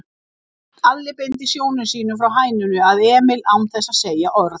Alli beindi sjónum sínum frá hænunni að Emil án þess að segja orð.